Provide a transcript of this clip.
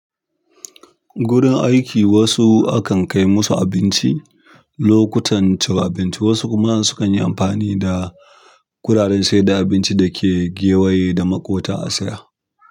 Gurin aiki wasu akan kai musu abinci lokutan cin abinci wasu kuma sukan yi amfani da kuɗaɗen sayar da abinci da ke gewaye da maƙota a saya.